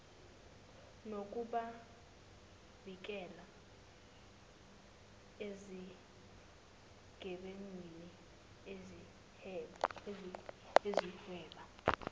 nokubavikela ezigebengwini ezihweba